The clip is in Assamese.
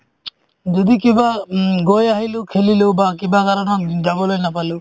যদি কিবা উম গৈ আহিলো খেলিলো বা কিবা কাৰণত যাবলৈ নাপালো